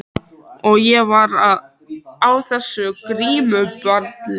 Og ég var á þessu grímuballi þarna.